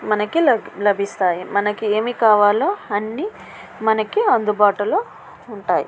మనకి లభిస్తాయి. మనకి ఏమి కావాలో మనకి అందుబాటులో ఉంటాయి.